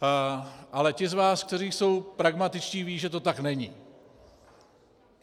Ale ti z vás, kteří jsou pragmatičtí, vědí, že to tak není.